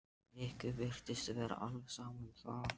Örnólfur, hver syngur þetta lag?